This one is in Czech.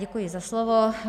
Děkuji za slovo.